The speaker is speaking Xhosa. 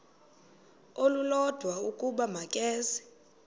olulodwa ukuba makeze